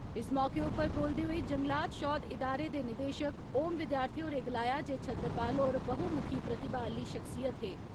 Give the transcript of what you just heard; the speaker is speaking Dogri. इस मौके उप्पर बोलदे होई जंगलात शौध इदारे दे निदेशक ओम विद्यार्थी होरें गलाया जे छतरपाल होर बहु मुखी प्रतिभा आली सख्सियत हे।